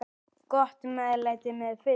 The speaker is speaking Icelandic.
Gott meðlæti með fiski.